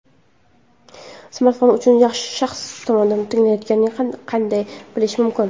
Smartfon uchinchi shaxs tomonidan tinglanayotganini qanday bilish mumkin?.